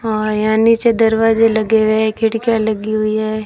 हां यहां नीचे दरवाजे लगे हुएं हैं खिड़कियां लगी हुईं हैं।